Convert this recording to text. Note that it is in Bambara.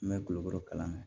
N bɛ gulɔ bɔ kalan na